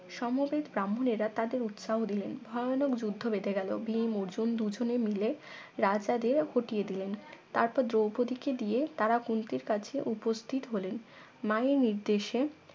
সমবেত ব্রাহ্মণেরা তাদের উৎসাহ দিলেন ভয়ানক যুদ্ধ বেধে গেল ভীম অর্জুন দুজনে মিলে রাজাদের হটিয়ে দিলেন তারপর দ্রৌপদীকে দিয়ে তারা কুন্তির কাছে উপস্থিত হলেন মায়ের নির্দেশে